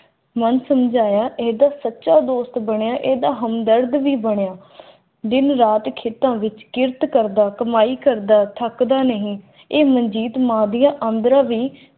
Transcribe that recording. ਮਨ ਸਮਝਾਇਆ ਏ ਦਾ ਸੱਚਾ ਦੋਸਤ ਬਣਿਆ ਇਹ ਦਾ ਹਮਦਰਦ ਵੀ ਬਣਿਆ